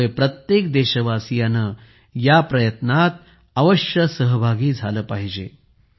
त्यामुळे प्रत्येक देशवासीयाने या प्रयत्नात अवश्य सहभागी झाले पाहिजे